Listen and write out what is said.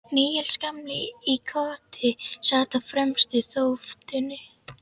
Níels gamli í Koti sat á fremstu þóftunni.